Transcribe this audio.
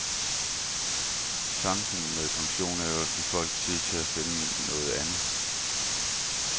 Tanken med pensionen er jo at give folk tid til at finde noget andet.